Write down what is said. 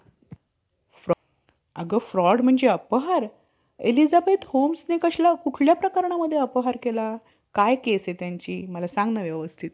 असे सिद्ध होते कि मनू~ मनू ने जी उत्पत्ती लिहिली आहे. ती अगदी खोटी आहे. कारण, कि सर्व मनुष्यास लागू पडत नाही. म्हणूनच,